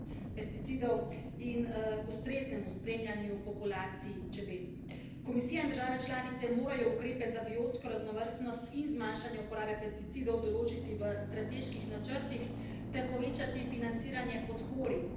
Komisija in države članice morajo ukrepe za biotsko raznovrstnost in zmanjšanje uporabe pesticidov določiti v strateških načrtih ter povečati financiranje podpore znanstvenega projekta državljanov za evidentiranje in spremljanje opraševalcev.